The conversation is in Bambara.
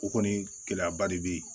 O kɔni gɛlɛyaba de be